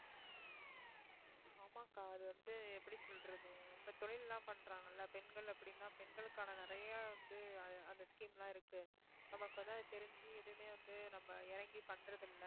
ஆமாக்கா அது வந்து எப்படி சொல்றது இப்ப தொழில் எல்லாம் பண்றாங்கள்ல பெண்கள் அப்படின்னா பெண்களுக்கான நிறைய வந்து அது அந்த scheme லாம் இருக்கு நமக்கு வந்து அது தெரிஞ்சு எதுவுமே வந்து நம்ம இறங்கி பண்றது இல்லை